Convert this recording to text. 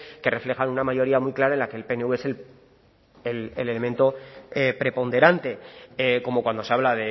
que reflejan una mayoría muy clara en la que el pnv es el elemento preponderante como cuando se habla